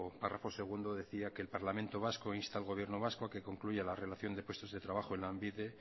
párrafo segundo decía que el parlamento vasco insta al gobierno vasco a que concluya la relación de puestos de trabajo en lanbide